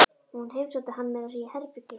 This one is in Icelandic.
Hún heimsótti hann meira að segja í herbergið.